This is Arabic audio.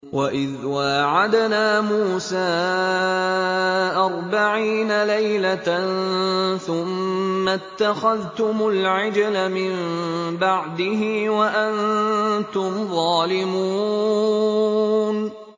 وَإِذْ وَاعَدْنَا مُوسَىٰ أَرْبَعِينَ لَيْلَةً ثُمَّ اتَّخَذْتُمُ الْعِجْلَ مِن بَعْدِهِ وَأَنتُمْ ظَالِمُونَ